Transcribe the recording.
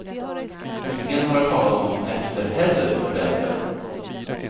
Ingen har hört talas om dem efter heller för den delen.